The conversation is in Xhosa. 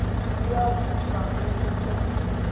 kweyab ivangeli enkulu